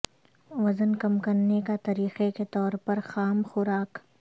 وزن کم کرنے کا طریقہ کے طور پر خام خوراک